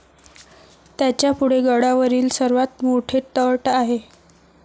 त्याच्यापुढे गडावरील सर्वात मोठे तट आहे